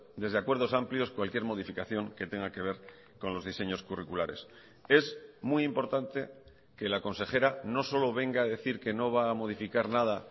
desde acuerdos amplios cualquier modificación que tenga que ver con los diseños curriculares es muy importante que la consejera no solo venga a decir que no va a modificar nada